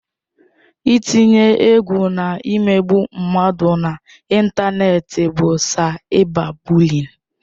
Ị tinye egwu na imegbu mmadụ na ịntanetị bụ saịba bụliịn.